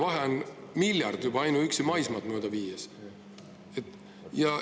Vahe on miljard juba ainuüksi maismaad mööda viies!